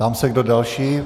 Ptám se, kdo další.